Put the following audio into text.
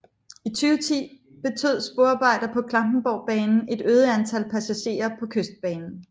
I 2010 betød sporarbejder på Klampenborgbanen et øget antal passagerer på Kystbanen